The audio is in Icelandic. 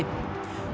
og